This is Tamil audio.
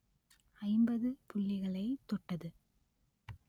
ஐம்பது புள்ளிகளை தொட்டது